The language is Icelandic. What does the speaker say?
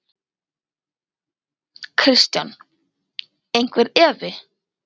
Kristján: Einhver efi?